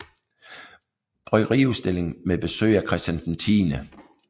Bryggeriudstilling med besøg af Christian X